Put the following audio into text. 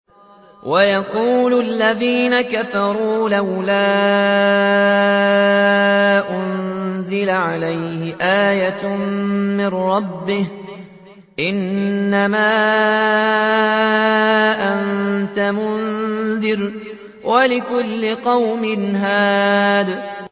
وَيَقُولُ الَّذِينَ كَفَرُوا لَوْلَا أُنزِلَ عَلَيْهِ آيَةٌ مِّن رَّبِّهِ ۗ إِنَّمَا أَنتَ مُنذِرٌ ۖ وَلِكُلِّ قَوْمٍ هَادٍ